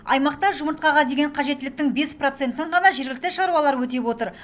аймақта жұмыртқаға деген қажеттіліктің бес процентін ғана жергілікті шаруалар өтеп отыр